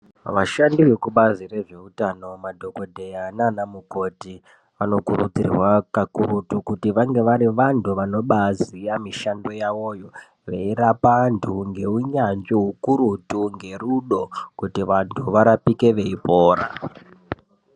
Vashandi vekubazi rezvehutano madhokodheya nana mukoti vanokurudzirwa kakurutu kunge vari vantu vanoziva mishando yavoyo veirapa vantu ngeunyanzvi ukurutu ngerudo kuti vantu varapike veipora.